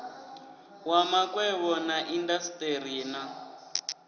wa makwevho na indasiteri na